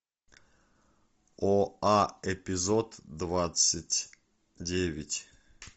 о а эпизод двадцать деаять